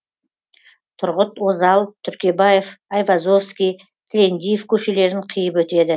тұрғыт озал түркебаев айвазовский тілендиев көшелерін қиып өтеді